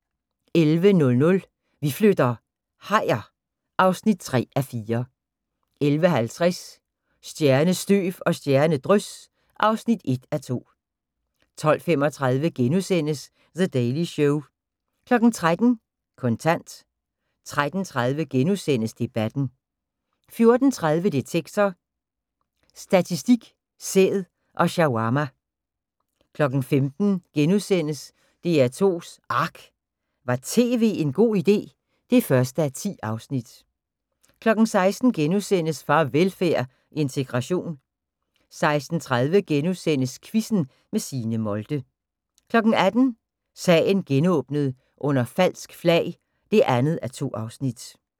11:00: Vi flytter - hajer (3:4) 11:50: Stjernestøv og stjernedrys (1:2) 12:35: The Daily Show * 13:00: Kontant 13:30: Debatten * 14:30: Detektor: Statistik, sæd og shawarma 15:00: DR2's ARK – var tv en god idé? (1:10)* 16:00: Farvelfærd: Integration * 16:30: Quizzen med Signe Molde * 18:00: Sagen genåbnet: Under falsk flag (2:2)